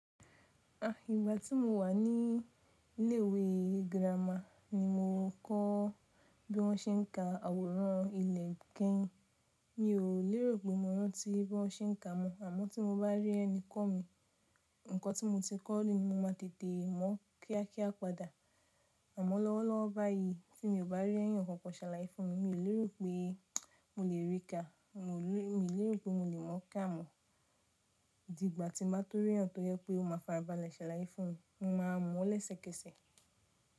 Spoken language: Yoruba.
À, ìgbà tí mo wà ní ilé ìwé girama ni mo kọ́ bí wọ́n se n ka àwòrán ilé keyin Mi ò lérò pé mo rantí bí wọ́n se n ka mọ́ àmọ́ tí mo bá rí ẹni kọ́ mi, nǹkan tí mo ti kọ́ ni mo máa tètè mọ̀ kíákíá padà. Àmọ́ lọ́wọ́lọ́wọ́ báyìí tí mi ò bá rí ẹ̀yàn kankan ṣàlàyé fún mi, mi ò lérò pé mo lè rí ka, mo ò lérò pé mo lè mọ̀ ká mọ́. Dígbà tí máa tó rí ẹ̀yàn tó yẹ́ pé ó máa farabalẹ̀ ṣàlàyé fún mi, mo máa mọ̀ lẹ́sẹ̀kẹsẹ̀.